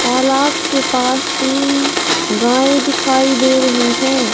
तालाब के पास तीन गायें दिखाई दे रही है।